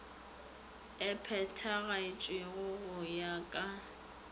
e phethagatšwago go ya ka